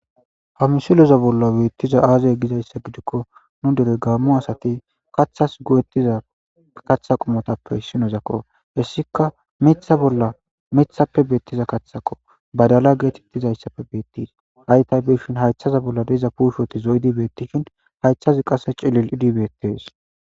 hamsiloza bolla beettiza aazay gizayssa gidikko nu dere gaammo asati kaththas go7ettiza kaththa qomotappe hissinozakko hessika etha ollamethappe beettiza kaththako badala geetettizayssappe bettiis haytay bishin haythaza bolla deeza puushoti zo7y dibetishin hayththazi qasse cilil idibeetes